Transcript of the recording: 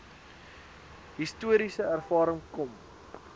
historiese ervaring kom